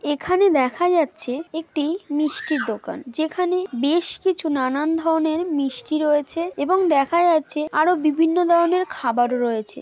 এখানে দেখা যাচ্ছে একটি মিষ্টির দোকান। যেখানে বেশ কিছু নানান ধরনের মিষ্টি রয়েছে এবং দেখা যাচ্ছে আরো বিভিন্ন ধরনের খাবারও রয়েছে ।